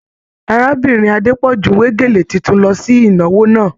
Arábìnrin Adepọju we gélé títún lọ sí ìnáwó náà.